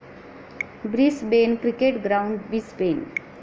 Brisbane cricket ground, Brisbane